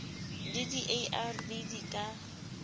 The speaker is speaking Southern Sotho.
le di arv di ka